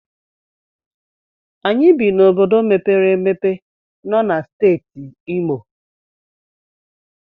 Anyị bi n'obodo mepere emepe nọ na Steeti Imo.